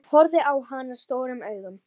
Sokka varð fyrir valinu.